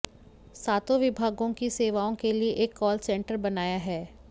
सातों विभागों की सेवाओं के लिए एक कॉल सेंटर बनाया है